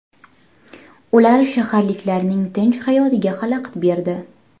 Ular shaharliklarning tinch hayotiga xalaqit berdi.